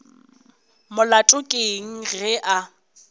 molato ke eng ge a